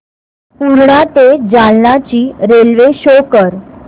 पूर्णा ते जालना ची रेल्वे शो कर